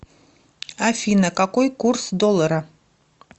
афина какой курс доллара